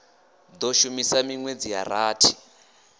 do shuma minwedzi ya rathi